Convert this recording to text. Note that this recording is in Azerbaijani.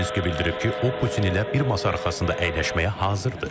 Zelenski bildirib ki, o Putin ilə bir masa arxasında əyləşməyə hazırdır.